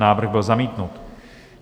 Návrh byl zamítnut.